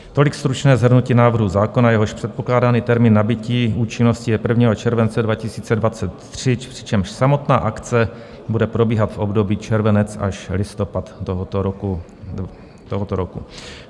Tolik stručné shrnutí návrhu zákona, jehož předpokládaný termín nabytí účinnosti je 1. července 2023, přičemž samotná akce bude probíhat v období červenec až listopad tohoto roku.